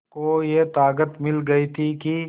को ये ताक़त मिल गई थी कि